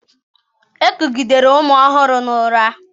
Ekugidere ụmụ ọhụrụ na ụra.